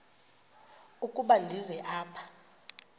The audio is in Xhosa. ukuba ndize apha